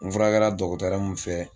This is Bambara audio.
N furakɛra min fɛ